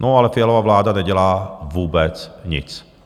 No ale Fialova vláda nedělá vůbec nic.